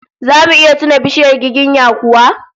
Zamu iya tuna bishiyar giginya kuwa?